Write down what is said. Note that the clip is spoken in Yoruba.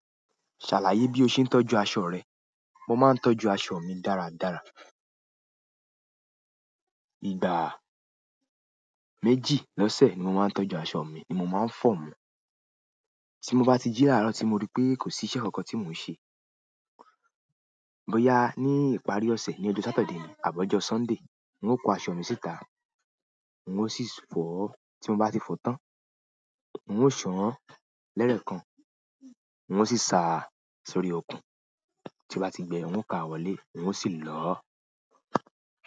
Ṣàlàyé bí o ṣe ń tọ́jú àṣo rẹ. Mo maa n tọ́jú aṣọ mi dára dára ìgbà méjì lọ́sẹ̀ ni mo maa n tọ́jú aṣọ mi ni mo maa n fo wọn. Tí mo bá ti jíla àárọ̀ tí mo rí pé kò sí iṣẹ́ kankan tí mò ń ṣe. Bo ya ní ìparí ọ̀sẹ̀, ní ọjọ́ Sátidé àbọ̀ ọjọ́ Sọ́ńdè, n ó kọ aṣọ mi síta, n ó sì fọ̀ ọ́. Tí mo bá ti fọ tán, n ó sọ̀ ọ́n lẹ́rẹ̀ kan, n ó sì sa á sórí okùn. Tí mo bá ti gbẹ n ó ka wọlé, n ó sì lọ.